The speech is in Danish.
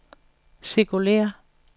cirkulér